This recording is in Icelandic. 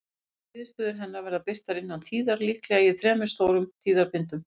Fyrstu niðurstöður hennar verða birtar innan tíðar, líklega í þremur stórum tíðabindum.